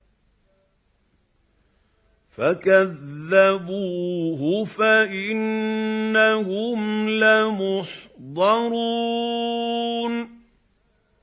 فَكَذَّبُوهُ فَإِنَّهُمْ لَمُحْضَرُونَ